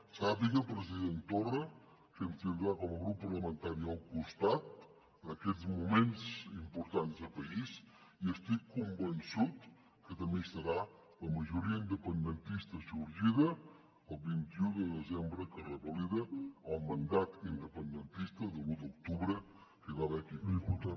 sàpiga president torra que ens tindrà com a grup parlamentari al costat en aquests moments importants de país i estic convençut que també hi estarà la majoria independentista sorgida el vint un de desembre que revalida el mandat independentista de l’u d’octubre que hi va haver aquí a catalunya